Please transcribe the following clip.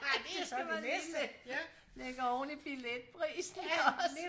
Ej det skal man lige læg ligge oven i billetprisen også